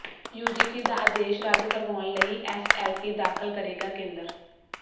UGC ਦਾ ਆਦੇਸ਼ ਰੱਦ ਕਰਾਉਣ ਲਈ ਐੱਸਐਲਪੀ ਦਾਖ਼ਲ ਕਰੇਗਾ ਕੇਂਦਰ